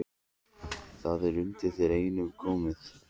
Það er undir þér einum komið